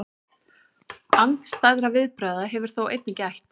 Andstæðra viðbragða hefur þó einnig gætt.